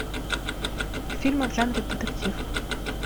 фильмы в жанре детектив